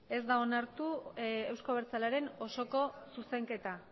ez da onartu euzko abertzalearen osoko zuzenketa